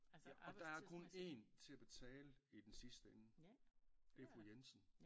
Ja og der er kun 1 til at betale i den sidste ende det er Fru Jensen